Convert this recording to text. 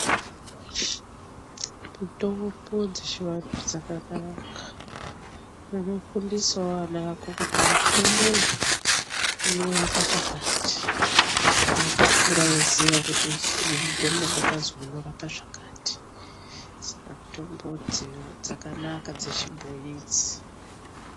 Mutombo dzechivantu dzakanaka unofundisawo vana vako kuti mutombo uyu unorapa chakati eitokura eiziye kuti mutombo ndakazwi unorapa zvakati saka mutombo dzakanaka dzechibhoyi idzi.